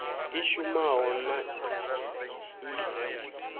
i shumaho na i si